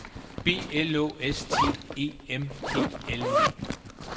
B L Å S T E M P L E